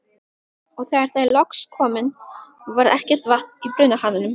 Og þegar þær loksins komu, var ekkert vatn í brunahananum.